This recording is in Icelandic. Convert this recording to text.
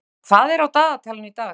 Salómon, hvað er á dagatalinu í dag?